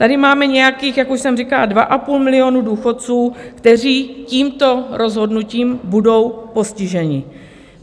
Tady máme nějakých, jak už jsem říkala, dva a půl milionu důchodců, kteří tímto rozhodnutím budou postiženi.